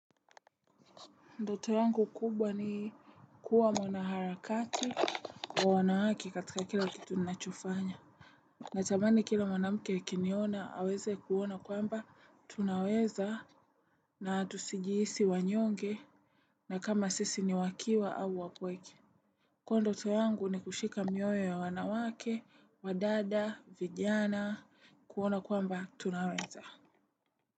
Ndoto yangu kubwa ni kuwa mwanaharakati kwa wanawake katika kila kitu ninachofanya. Natani kila mwanamke akiniona aweze kuona kwamba tunaweza na tusijihisi wanyonge na kama sisi ni wakiwa au wapweke. Kuwa ndoto yangu ni kushika mioyo ya wanawake, wadada, vijana, kuona kwamba tunaweza.